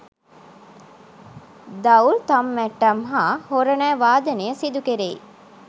දවුල්, තම්මැට්ටම් හා හොරණෑ වාදනය සිදුකෙරෙයි.